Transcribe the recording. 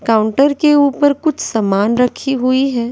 Counter के ऊपर कुछ सामान रखी हुई हैं।